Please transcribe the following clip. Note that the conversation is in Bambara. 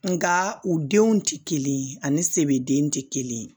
Nga u denw tɛ kelen ye ani sebeden tɛ kelen ye